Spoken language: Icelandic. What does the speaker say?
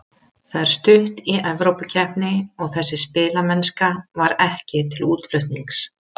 Það er stutt í Evrópukeppni og þessi spilamennska var ekki til útflutnings.